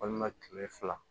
Walima kile fila